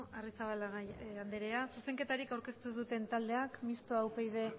arrizabalaga andrea zuzenketarik aurkeztu duten taldeak mistoa upyd